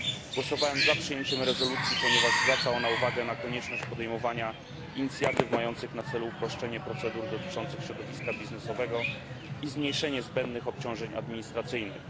Głosowałem za przyjęciem rezolucji, ponieważ zwraca ona uwagę na konieczność podejmowania inicjatyw mających na celu uproszczenie procedur dotyczących środowiska biznesowego i zmniejszenie zbędnych obciążeń administracyjnych.